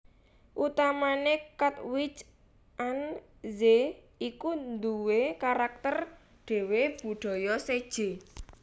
Utamané Katwijk aan Zee iku nduwé karakter dhéwé budaya séjé